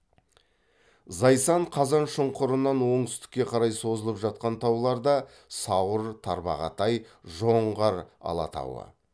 зайсан қазаншұңқырынан оңтүстікке қарай созылып жатқан тауларда сауыр тарбағатай жоңғар алатауы